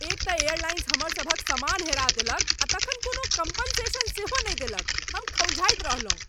एक तँ एयरलाइंस हमर सभक सामान हेरा देलक आ तखन कोनो कॉम्पेन्सेशन सेहो नहि देलक, हम खौँजाइत रहलहुँ ।